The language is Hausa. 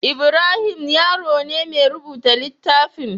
Ibrahim Yaro ne ya rubuta littafin.